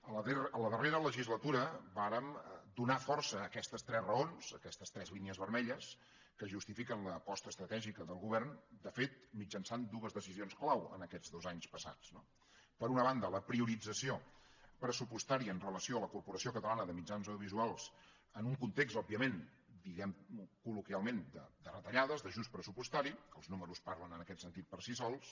a la darrera legislatura vàrem donar força a aquestes tres raons a aquestes tres línies vermelles que justifiquen l’aposta estratègica del govern de fet mitjançant dues decisions clau aquests dos anys passats no per una banda la priorització pressupostària amb relació a la corporació catalana de mitjans audiovisuals en un context òbviament diguem ho colretallades d’ajust pressupostari els números parlen en aquest sentit per si sols